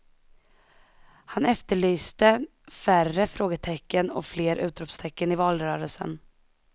Han efterlyste färre frågetecken och fler utropstecken i valrörelsen.